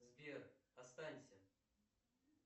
сбер останься